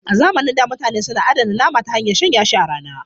A zamanin da mutane suna adana nama ta hanyar shanya shi a rana.